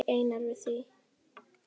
Hvað segir Einar við því?